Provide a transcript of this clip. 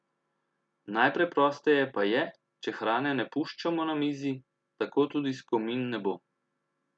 Najpreprosteje pa je, če hrane ne puščamo na mizi, tako tudi skomin ne bo.